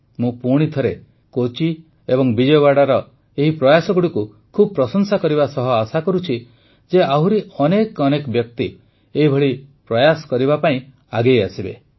ମୁଁ ପୁଣିଥରେ କୋଚ୍ଚି ଏବଂ ବିଜୟୱାଡ଼ା ଏହି ପ୍ରୟାସଗୁଡ଼ିକୁ ଖୁବ୍ ପ୍ରଶଂସା କରିବା ସହ ଆଶା କରୁଛି ଯେ ଆହୁରି ଅନେକ ବ୍ୟକ୍ତି ଏହିଭଳି ପ୍ରୟାସ କରିବା ପାଇଁ ଆଗେଇଆସିବେ